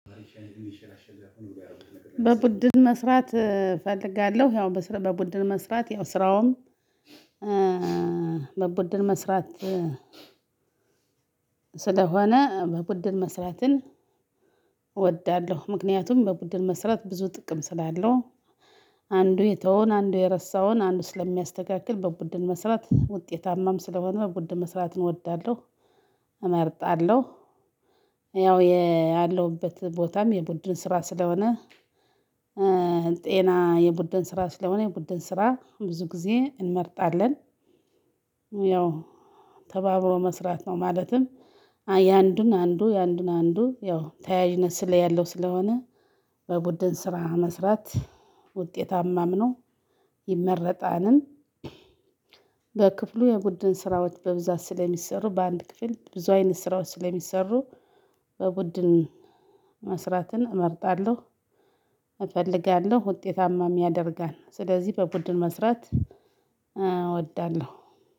በቡድን መስራት እፈልጋለሁ በቡድን መስራት ያው ስራውም በቡድን መስራት ስለሆነ በቡድን መስራትን እወዳለሁ ምክንያቱም በቡድን መስራት ብዙ ጥቅም ስላለው አንዱ የተወውን አንዱ የረሳውን አንዱ ስለሚያስተካክል በቡድን መስራት ውጤታማም ስለሆነ በቡድን መስራት እወዳለሁ። እመርጣለሁ ያው ያለሁበት ቦታም የቡድን ስራም ስለሆነ ጤና የቡድን ስራ ስለሆነ የቡድን ስራ ብዙ ጊዜ እንመርጣለን። ያው ተባብሮ መስራት ነው። ማለትም የአንዱን አንዱ የአንዱን አንዱ ያው ተያያዥነት ያለው ስለሆነ። በቡድን ስራ መስራት ውጤታማም ነው። ይመረጣልም። በክፍሉ የቡድን ስራዎች በብዛት ስለሚሰሩ በአንድ ክፍል ብዙ አይነት ስራዎች ስለሚሰሩ በቡድን መስራትን እመርጣለሁ። እፈልጋለሁ ውጤታማም ያደርጋል ስለዚህ በቡድን መስራት